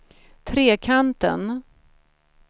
Trekanten